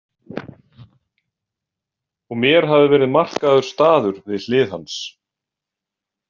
Og mér hafði verið markaður staður við hlið hans.